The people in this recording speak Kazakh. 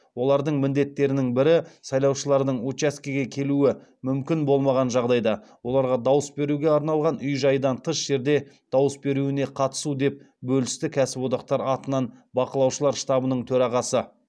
олардың міндеттерінің бірі сайлаушылардың учаскеге келуі мүмкін болмаған жағдайда оларға дауыс беруге арналған үй жайдан тыс жерде дауыс беруіне қатысу деп бөлісті кәсіподақтар атынан бақылаушылар штабының төрағасы